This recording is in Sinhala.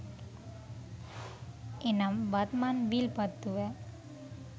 එනම් වත්මන් විල්පත්තුව